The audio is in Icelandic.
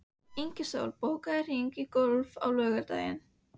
Með öllum blundar óttinn um óboðinn gest.